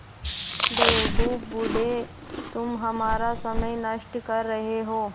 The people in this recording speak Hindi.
बेवकूफ़ बूढ़े तुम हमारा समय नष्ट कर रहे हो